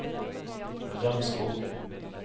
Rømskog